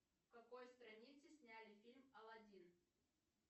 в какой стране сняли фильм алладин